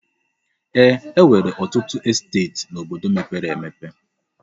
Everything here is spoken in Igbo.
Ee, e nwere ọtụtụ esteeti n'obodo mepere emepe.